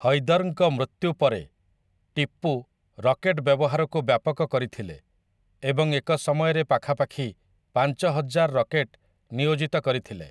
ହୈଦରଙ୍କ ମୃତ୍ୟୁ ପରେ ଟିପୁ ରକେଟ ବ୍ୟବହାରକୁ ବ୍ୟାପକ କରିଥିଲେ ଏବଂ ଏକ ସମୟରେ ପାଖାପାଖି ପାଞ୍ଚ ହଜାର ରକେଟ ନିୟୋଜିତ କରିଥିଲେ ।